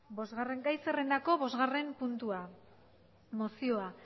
bosgarren gai zerrendako bosgarren puntua mozioa